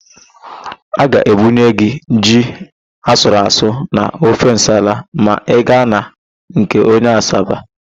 A ga-ebunye gị ji asụruasụ na ofe nsala ma ị ga na nke onye Asaba.